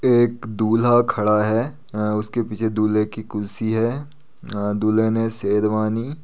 एक दूल्हा खड़ा है अ उसके पीछे दूल्हे की कुर्सी है अ दूल्हे ने शेरवानी --